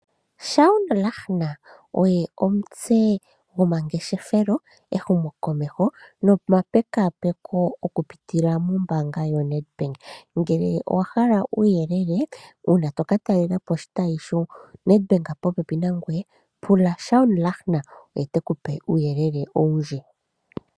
Shaun Lahner oye omutse gomangeshefelo , ehumokomeho nomapekaapeko okupitila mombaanga yoNedbank. Ngele owa hala uuyelele uuna toka taalelapo oshitayi shoNedbank popepi nangoye pula Shaun Lahner oye tekupe uuyelele owundji.